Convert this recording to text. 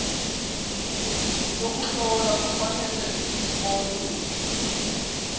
yokuhlola kufuneka zibonwe